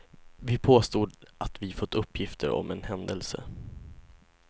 Vi påstod att vi fått uppgifter om en händelse.